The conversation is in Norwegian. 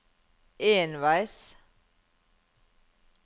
enveis